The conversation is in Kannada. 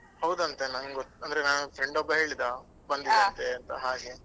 ಹೌದಂತೆ ನಂಗ್ ಗೊ~ ಅಂದ್ರೆ ನನ್ friend ಒಬ್ಬ ಹೇಳಿದಾ. ಅಂತ ಹಾಗೆ.